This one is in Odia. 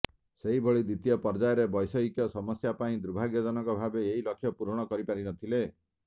ସେହିଭଳି ଦ୍ୱିତୀୟ ପର୍ଯ୍ୟାୟରେ ବୈଷୟିକ ସମସ୍ୟା ପାଇଁ ଦୁର୍ଭାଗ୍ୟଜନକ ଭାବେ ଏହି ଲକ୍ଷ୍ୟ ପୂରଣ କରି ପାରି ନଥିଲେ